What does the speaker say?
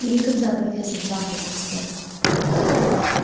я никогда профессор дамблдор сэр